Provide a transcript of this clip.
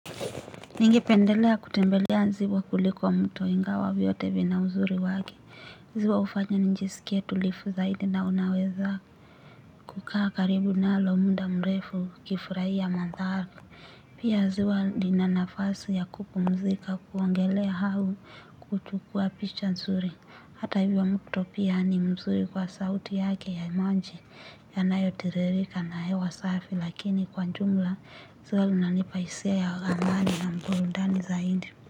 Ningependelea kutembelea ziwa kuliko mto ingawa vyote vina uzuri wake ziwa ufanya njisikie tulifu zaidi na unaweza kukaa karibu nalo munda mrefu ukifuraia mantharku. Pia ziwa nina nafasi ya kupumzika kuongelea hau kuchukua picha nzuri. Hata hivyo mto pia ni mzuri kwa sauti yake ya manji yanayo tiririka na hewa safi lakini kwa njumla zulu nanipa isia ya amani na mburundani zaindi.